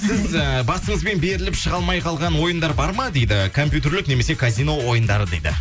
сіз ы басыңызбен беріліп шыға алмай қалған ойындар бар ма дейді компютерлік немесе казино ойындары дейді